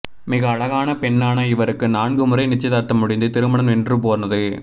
மிக அழகான பெண்ணான இவருக்கு நான்கு முறை நிச்சயதார்த்தம் முடிந்து திருமணம் நின்றுபோனது